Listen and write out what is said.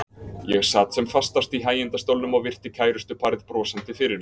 Ég sat sem fastast í hægindastólnum og virti kærustuparið brosandi fyrir mér.